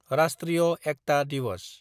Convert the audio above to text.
राष्ट्रीय एकता दिवस